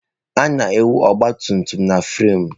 A na-ewu ọgba tum tum na framụ.